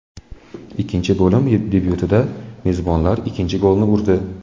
Ikkinchi bo‘lim debyutida mezbonlar ikkinchi golni urdi.